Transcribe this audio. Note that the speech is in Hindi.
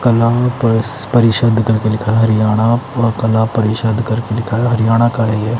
कला परिषद करके लिखा हरियाणा का कला परिषद करके लिखा है। हरियाणा का हैं ये--